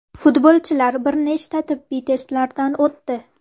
Futbolchilar bir nechta tibbiy testlardan o‘tdi.